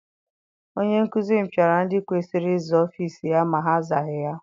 Onye nkụzi m piara ndị kwesịrị ịza ọfịịsi ya ma ha azaghị ya.